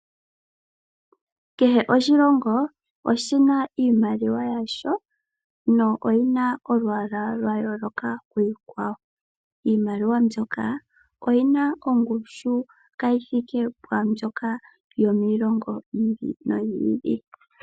Kehe oshilongo oshina iimaliwa yasho , noyina olwaala lwa yooloka kiikwawo . Iimaliwa oyina oongushu kayi thike pwaambyoka yomiilongo yiili noyili.